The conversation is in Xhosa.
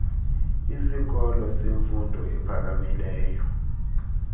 isikolo semfundo ephakamileyo